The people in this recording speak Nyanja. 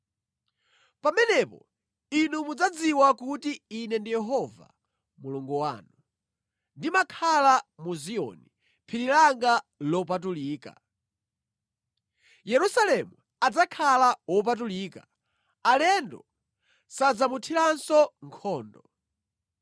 “Pamenepo inu mudzadziwa kuti Ine Yehova Mulungu wanu, ndimakhala mu Ziyoni, phiri langa lopatulika. Yerusalemu adzakhala wopatulika; alendo sadzamuthiranso nkhondo.